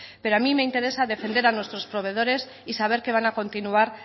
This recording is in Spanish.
pero a mí me interesa defender a nuestros proveedores y saber que van a continuar